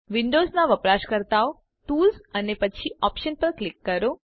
વિન્ડોવ્ઝનાં વપરાશકર્તાઓ ટૂલ્સ અને પછી ઓપ્શન્સ પર ક્લિક કરો